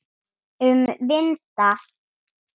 Um vinda.